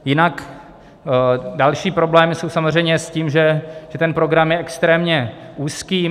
Jinak další problémy jsou samozřejmě s tím, že ten program je extrémně úzký.